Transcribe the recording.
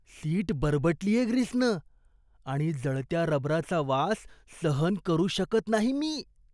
Seat बरबटलीये ग्रीसनं आणि जळत्या रबराचा वास सहन करू शकत नाही मी.